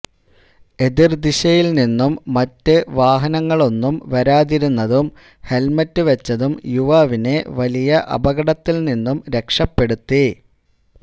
എതിര് ദിശയില് നിന്നും മറ്റ് വാഹനങ്ങളൊന്നും വരാതിരുന്നതും ഹെല്മറ്റ് വച്ചതും യുവാവിനെ വലിയ അപകടത്തില് നിന്നും രക്ഷപ്പെടുത്തി